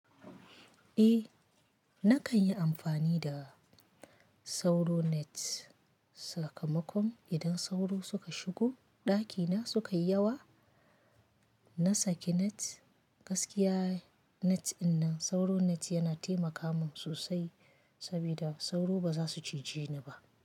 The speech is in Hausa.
Eh, nakan yi amfani da sauro net sakamakon idan sauro suka shigo ɗakina suka yi yawa. Na saki net, gaskiya net ɗin nan sauro net yana taimaka min sosai sabida sauro ba za su cije ni ba.